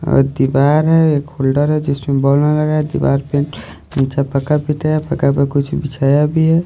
और दीवार है एक होल्डर है जिसमें बॉल में लगाया है दीवार पेंट नीचा पक्का पिता है पक्का पर कुछ बिछाया भी है।